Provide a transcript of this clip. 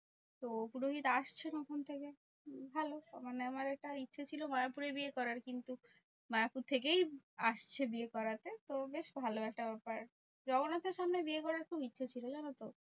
তো পুরোহিত আসছেন ওখান থেকে ভালো। মানে আমার এটা ইচ্ছা ছিল মায়াপুরে বিয়ে করার? কিন্তু মায়াপুর থেকেই আসছে বিয়ে করাতে। তো বেশ ভালো একটা ব্যাপার। জগন্নাথের সামনে বিয়ে করার খুব ইচ্ছা ছিল জানোতো?